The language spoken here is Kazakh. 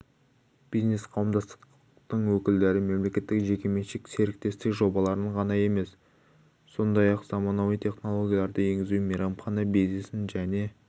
бизнес қауымдастықтың өкілдері мемлекеттік-жекеменшік серіктестік жобаларын ғана емес сондай-ақ заманауи технологияларды енгізу мейрамхана бизнесін және